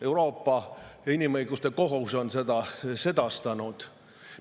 Euroopa Inimõiguste Kohus on seda sedastanud.